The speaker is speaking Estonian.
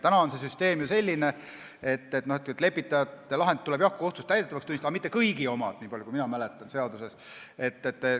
Täna on süsteem ju selline, et lepitajate lahendid tuleb jah kohtus täidetavaks tunnistada, aga mitte kõigi omad, niipalju kui mina seadust mäletan.